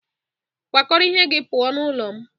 Pack your things and Leave my house!